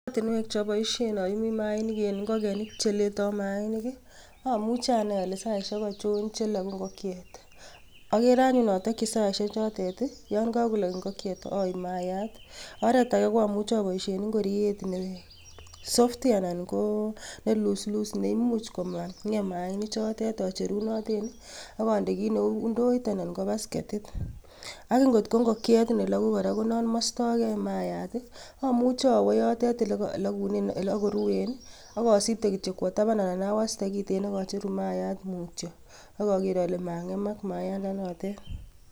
Oratinwek choboishien oyuumi mainik en ngokenik che letoo mainik i,omuche anai ole saisiek ochon che loogu ingokyeet. Agere anyun otokyii saisiechotet i ton kokolog ingokyeet aib maayat. Oretage ko amuche aboishien ingoriet nenyigis anan ko neluslus neimuch komangeem mainichotet acherunoten ak ondee kit neu indoor anan ko baskeetit. Ak ko ko ingokyeet nelogu kora konon moistoge yon kakolog, amuche awoo yotet ole koloogunen ak koruen akosibteei kityook kwo tabaan anan awastee kiten ak acheruu maayat mutyoo ak ageer ale mangeemak mayaandanotet.